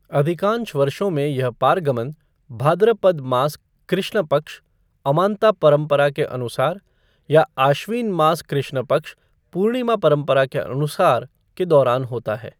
अधिकांश वर्षों में, यह पारगमन भाद्रपद मास कृष्ण पक्ष अमांता परंपरा के अनुसार या आश्विन मास कृष्ण पक्ष पूर्णिमा परंपरा के अनुसार के दौरान होता है।